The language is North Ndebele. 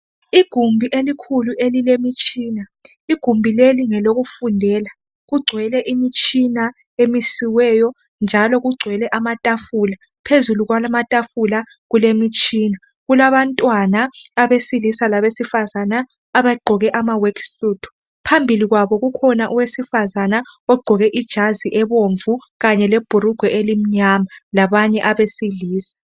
Igumbi elikhulu elilemtshina. Igumbi leli ngelokufundela, kugcwele imtshina emisiweyo njalo kugcwele amatafula. Phezulu kwalamatafula kulemtshina, kulabantwana abesilisa labesifazana abagqoke ama work suit. Phambili kwabo kukhona owesifazana ogqoke ijazi ebomvu kanje lebhurugwe elimnyama kanye labanye abesilisa